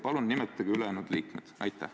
Palun nimetage ülejäänud liikmed!